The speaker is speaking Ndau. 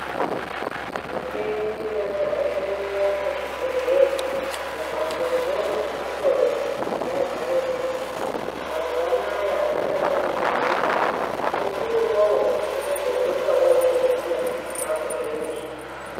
Michini yadzaremwo muzvibhedhleya mumbatsodzo dzekuhloya yadzaremo mazuwa anaya azvichambononokiba musi iwowo unotodzoka wotoziya zvako zveshe.